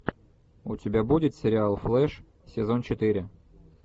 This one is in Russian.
у тебя будет сериал флэш сезон четыре